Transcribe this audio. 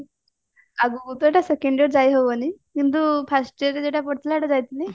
ଆଗକୁ ତ ଏଇଟା second year ଯାଇହବନି କିନ୍ତୁ first year ଯୋଉଟା ପଡିଥିଲା ସେଇଟା ଯାଇଥିଲି